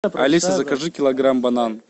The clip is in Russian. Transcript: алиса закажи килограмм банан